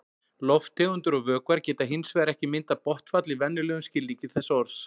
Lofttegundir og vökvar geta hins vegar ekki myndað botnfall í venjulegum skilningi þess orðs.